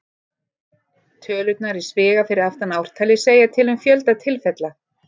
Tölurnar í sviga fyrir aftan ártalið segja til um fjölda tilfella.